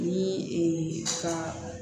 Ni ka